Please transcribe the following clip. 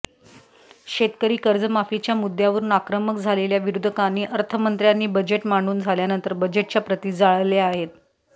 शेतकरी कर्जमाफीच्या मुद्द्यावरून आक्रमक झालेल्या विरोधकांनी अर्थमंत्र्यांनी बजेट मांडून झाल्यानंतर बजेटच्या प्रती जाळल्या आहेत